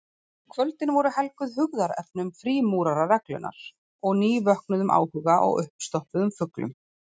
Kvöldin voru helguð hugðarefnum frímúrarareglunnar og nývöknuðum áhuga á uppstoppuðum fuglum.